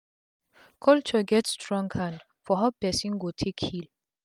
culture get strong hand for how pesin go take heal